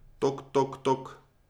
Tok, tok, tok.